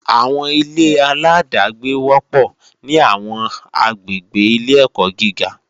Àwọn ilé-aláàdágbé wọ́pọ̀ ní àwọn àgbègbè ilé-ẹ̀kọ́ gíga